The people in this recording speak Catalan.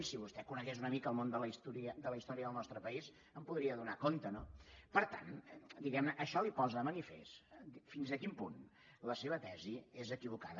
si vostè conegués una mica el món de la història del nostre país en podria donar compte no per tant diguemne això li posa de manifest fins a quin punt la seva tesi és equivocada